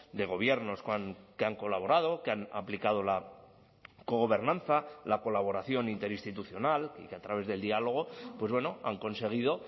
de gobiernos que han colaborado que han aplicado la cogobernanza la colaboración interinstitucional y que a través del diálogo pues bueno han conseguido